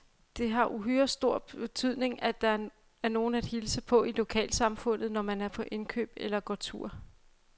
Det har uhyre stor betydning, at der er nogen at hilse på i lokalsamfundet, når man er på indkøb eller går tur.